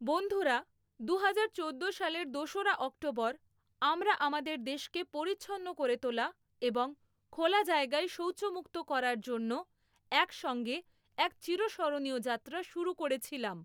বন্ধুরা, দুহাজার চোদ্দো সালের দোসরা অক্টোবর আমরা আমাদের দেশকে পরিচ্ছন্ন করে তোলা এবং খোলা জায়গায় শৌচ মুক্ত করার জন্য একসঙ্গে এক চিরস্মরণীয় যাত্রা শুরু করেছিলাম।